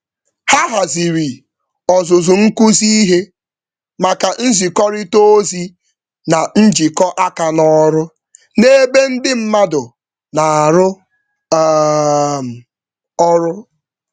Ha haziri ogbako iji lebara mkparịta ụka n’ọrụ na nka mmekọrịta otu anya.